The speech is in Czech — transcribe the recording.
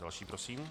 Další prosím.